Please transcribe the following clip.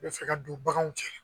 i bɛ fɛ ka don baganw cɛla